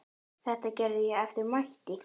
Þetta gerði ég eftir mætti.